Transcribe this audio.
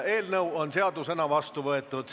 Eelnõu on seadusena vastu võetud.